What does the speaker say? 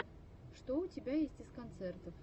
что у тебя есть из концертов